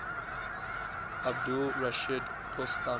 abdul rashid dostum